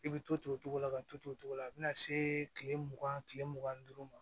I bɛ to o cogo la ka to o cogo la a bɛna se tile mugan tile mugan ni duuru ma